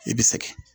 I bɛ sɛgɛn